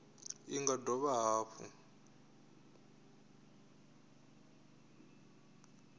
cbnrm i nga dovha hafhu